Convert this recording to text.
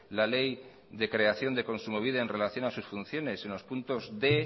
la ley de creación de kontsumobide en relación a sus funciones en los puntos d